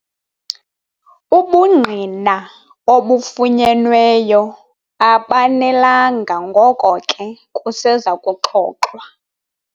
Ubungqina obufunyenweyo abanelanga ngoko ke kuseza kuxoxwa.